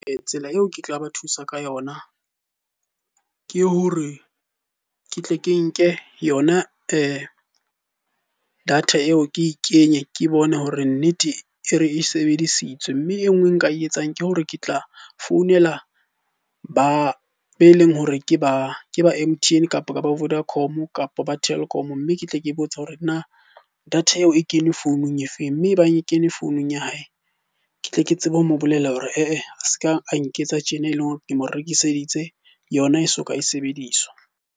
Tsela eo ke tla ba thusa ka yona ke hore ke tle ke nke yona data eo ke e kenye, ke bone hore nnete e re e sebedisitswe. Mme e nngwe e nka e etsang ke hore ke tla founela be e leng hore ke ba M_T_N, kapa Vodacom, kapo ba Telkom-o. Mme ke tle ke botse hore na data eo e kene founung e feng? Mme e bang e kene founung ya hae, ke tle ke tsebe ho mo bolella hore eh-eh, a se ka a nketsa tjena ke mo rekiseditse yona e soka e sebediswa.